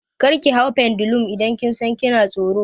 Kar ki hau pendulum idan kin san kina tsoro!